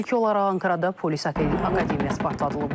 İlk olaraq Ankarada polis akademiyası partladılıb.